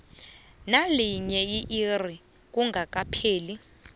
nelinye irro kungakapheli